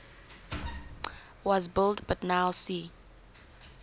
was blind but now see